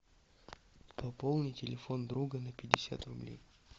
пополни телефон друга на пятьдесят рублей